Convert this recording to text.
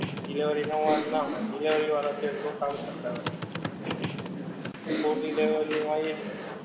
delivery નો વાક ના હોએ delivery વાળા તો એમનું કામ કરતા હોએ food delivery મા એજ હોએ